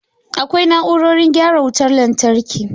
Akwai na'urorin gyara wutar lantarki.